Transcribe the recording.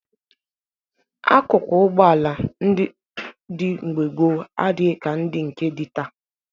Akụkụ ụgbọala ndị dị mgbe gboo adịghị ka ndị nke dị taa